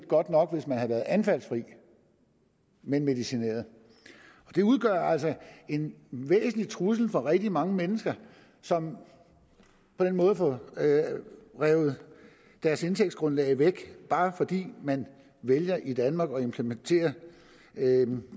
godt nok hvis man havde været anfaldsfri men medicineret det udgør altså en væsentlig trussel for rigtig mange mennesker som på den måde får revet deres indtægtsgrundlag væk bare fordi man vælger i danmark at implementere